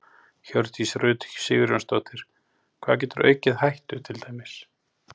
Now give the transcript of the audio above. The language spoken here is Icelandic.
Hjördís Rut Sigurjónsdóttir: Hvað getur aukið hættu til dæmis?